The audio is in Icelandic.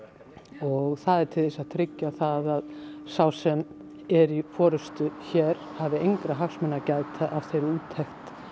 og það er til þess að tryggja það að sá sem er í forystu hér hafi engra hagsmuna að gæta af þeirri úttekt